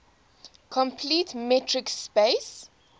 complete metric space